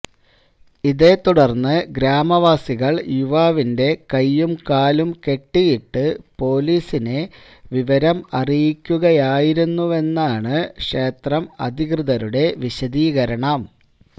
ഇതേത്തുടര്ന്ന് ഗ്രാമവാസികള് യുവാവിന്റെ കൈയും കാലും കെട്ടിയിട്ട് പോലീസിനെ വിവരം അറിയിക്കുകയായിരുന്നുവെന്നാണ് ക്ഷേത്രം അധികൃതരുടെ വിശദീകരണം